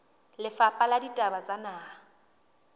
lefapha la ditaba tsa naha